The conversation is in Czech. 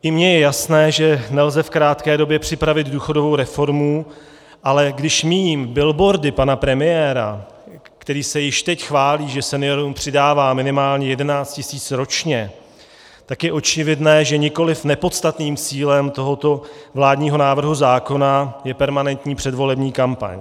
I mně je jasné, že nelze v krátké době připravit důchodovou reformu, ale když míjím billboardy pana premiéra, který se již teď chválí, že seniorům přidává minimálně 11 tisíc ročně, tak je očividné, že nikoliv nepodstatným cílem tohoto vládního návrhu zákona je permanentní předvolební kampaň.